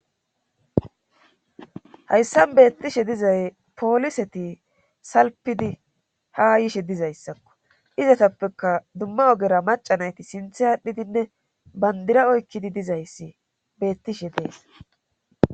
hayssan beettishe dizay pooliseti salpidi ha yishe dizayssakko izatappeka dumma ogera macanayti sinthe aadhdhidinne bandira oykkidi dizayssi beettishe dees